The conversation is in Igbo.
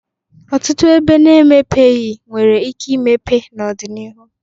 Ọtụtụ ebe na-emepeghị nwere ike ịmepe n'ọ dị n'ihu.